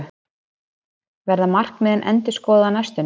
Verða markmiðin endurskoðuð á næstunni?